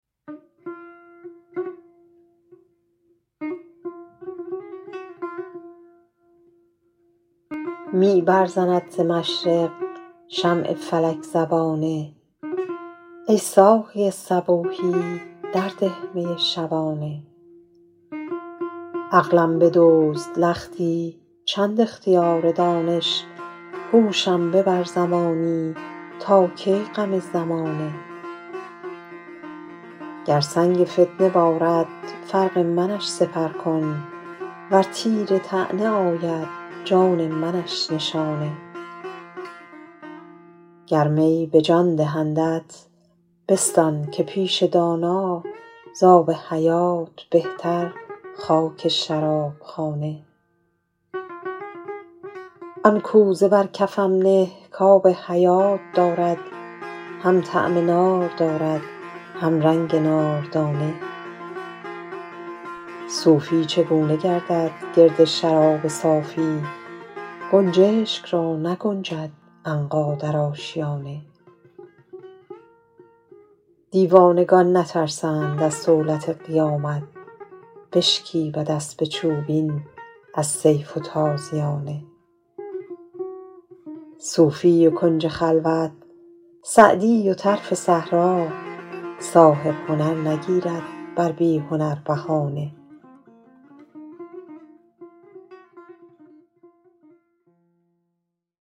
می برزند ز مشرق شمع فلک زبانه ای ساقی صبوحی در ده می شبانه عقلم بدزد لختی چند اختیار دانش هوشم ببر زمانی تا کی غم زمانه گر سنگ فتنه بارد فرق منش سپر کن ور تیر طعنه آید جان منش نشانه گر می به جان دهندت بستان که پیش دانا زآب حیات بهتر خاک شراب خانه آن کوزه بر کفم نه کآب حیات دارد هم طعم نار دارد هم رنگ ناردانه صوفی چگونه گردد گرد شراب صافی گنجشک را نگنجد عنقا در آشیانه دیوانگان نترسند از صولت قیامت بشکیبد اسب چوبین از سیف و تازیانه صوفی و کنج خلوت سعدی و طرف صحرا صاحب هنر نگیرد بر بی هنر بهانه